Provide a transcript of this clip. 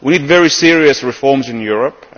We need very serious reforms in Europe.